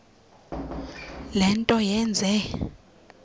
le nto yenze